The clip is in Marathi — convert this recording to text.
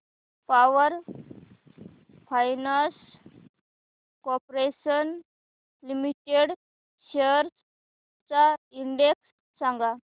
power finance corporation limited shares चा इंडेक्स सांगा